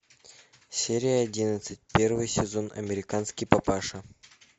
серия одиннадцать первый сезон американский папаша